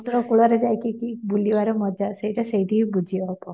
ସମୁଦ୍ର କୂଳରେ ଯାଇକି କି ମଜା ସେଇଟା ସେଇଠି ହିଁ ବୁଝି ହେବ